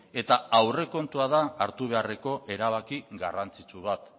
eta aurrekontua da hartu beharreko erabaki garrantzitsu bat